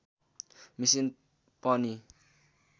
machine पनि